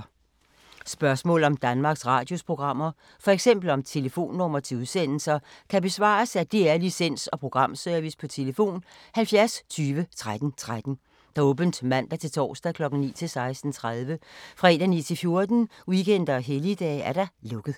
Spørgsmål om Danmarks Radios programmer, f.eks. om telefonnumre til udsendelser, kan besvares af DR Licens- og Programservice: tlf. 70 20 13 13, åbent mandag-torsdag 9.00-16.30, fredag 9.00-14.00, weekender og helligdage: lukket.